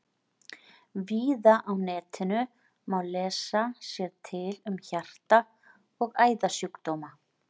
Víða á netinu má lesa sér til um hjarta- og æðasjúkdóma.